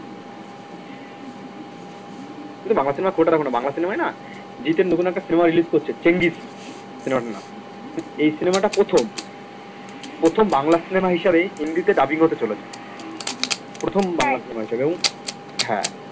তুমি তো বাংলা cinema খুব একটা দেখো না বাংলা cinema য় না জিতের নতুন একটা cinema release করছে চেঙ্গিজ cinema টার নাম এই cinema টা প্রথম প্রথম বাংলা cinema হিসাবে হিন্দিতে dubbing হতে চলেছে প্রথম বাংলা cinema এটা হ্যাঁ